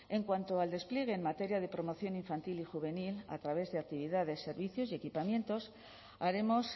en cuanto al despliegue en materia de promoción infantil y juvenil a través de actividades servicios y equipamientos haremos